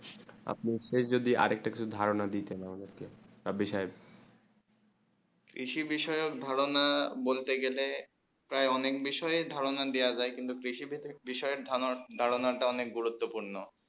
আপনি সেই যদি আর একটু কিছু ধারণা দিতে আমাদের কে তা বিষয়ে কৃষি বিষয়ে ধারণা বলতে গেলে প্রায় অনেক বিষয়ে ধারণা দেয়া যায় কিন্তু কৃষি ভিতরে কৃষয়ে ধারণা তা অনেক গুরুত্বপূর্ণ